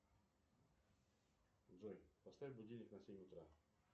джой поставь будильник на семь утра